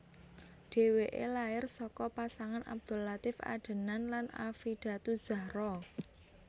Dheweke lair saka pasangan Abdul Latief Adenan lan Affidatuzzahro